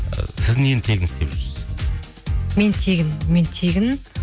ы сіз нені тегін істеп жүрсіз мен тегін мен тегін